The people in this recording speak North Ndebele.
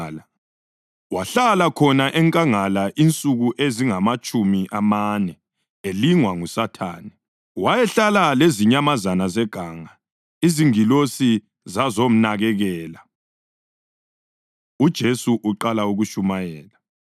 wahlala khona enkangala insuku ezingamatshumi amane elingwa nguSathane. Wayehlala lezinyamazana zeganga, izingilosi zazomnakekela. UJesu Uqala Ukutshumayela